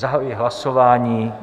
Zahajuji hlasování.